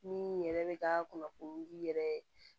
Min yɛrɛ bɛ ka kunnafoni yɛrɛ